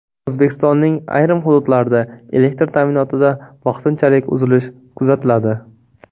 O‘zbekistonning ayrim hududlarida elektr ta’minotida vaqtinchalik uzilish kuzatiladi.